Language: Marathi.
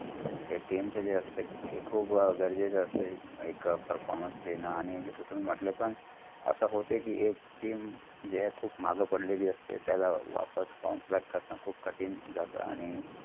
हे team चे अस्तेय जे खूप गरजेचं असत. एक performance देणं आणि जस तुमी म्हटलं पण team जे खूप माग पडलेली असतं. त्याला वापस bownce back करण खूप कठीण जात. आणि